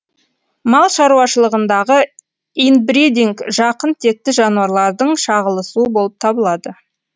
мал шаруашылығындағы инбридинг жақын текті жануарлардың шағылысуы болып табылады